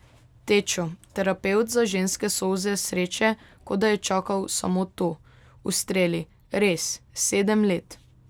Tečo, terapevt za ženske solze sreče, kot da je čakal samo to, ustreli: 'Res, sedem let ...